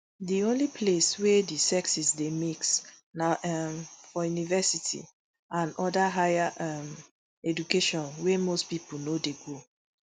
di only place wey di sexes dey mix na um for university and oda higher um education wey most pipo no dey go